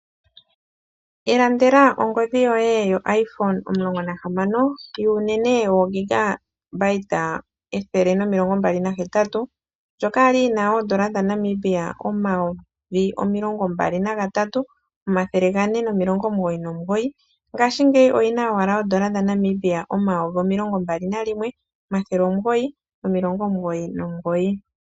Ilandela ongodhi yoye yo IPhone16 yuunene woo128GB ndjoka yali yina N$23 499 ngaashingeyi oyina owala N$21 999 .